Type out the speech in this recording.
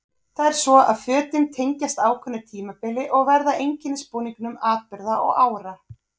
Það er svo að fötin tengjast ákveðnu tímabili og verða að einkennisbúningum atburða og ára.